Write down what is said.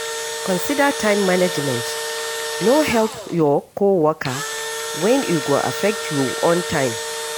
Consider time management, no help your co-worker when e go affect you own time